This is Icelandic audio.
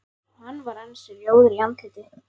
Hann var ansi rjóður í andliti.